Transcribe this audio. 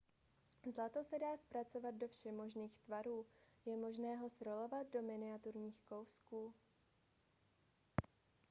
zlato se dá zpracovat do všemožných tvarů je možné ho srolovat do miniaturních kousků